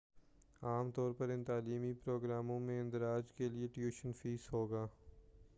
عام طور پر ان تعلیمی پروگراموں میں اندراج کے لیے ٹیوشن فیس ہوگا